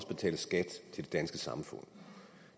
betale skat til det danske samfund